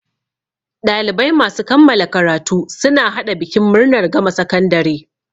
Ɗalibai masu kammala karatu suna haɗa bikin murnar gama sakandare.